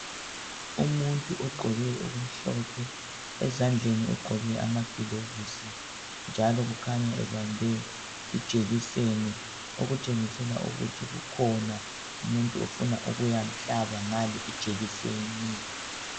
Umuntu ogqoke okumhlophe. Ezandleni ugqoke amagilovisi njalo ukhanya ebambe ijekiseni okutshengisela ukuthi kukhona umuntu afuna ukuyamhlaba ngaleyi ijekiseni.